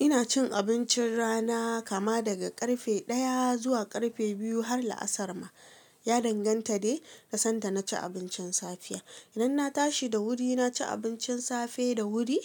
Ina cin abincin rana kama daga ƙarfe daya zuwa karfe biyu, har la'asar ma. Ya danganta dai da sanda na ci abincin safiya. Idan na tashi da wuri na ci abincin safe da wuri,